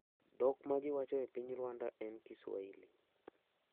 Dhok ma ji wacho e piny Rwanda en Kiswahili.